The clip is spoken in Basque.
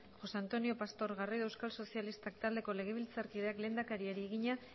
josé antonio pastor garrido euskal sozialistak taldeko legebiltzarkideak lehendakariari egina